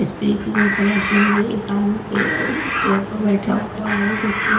spray की बोतल रखी हुई है एक आदमी के चेयर पर बैठा हुआ है जिसने --